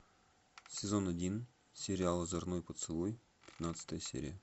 сезон один сериал озорной поцелуй пятнадцатая серия